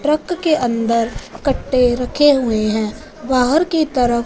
truck के अंदर कट्टे रखे हुए है बाहर की तरफ --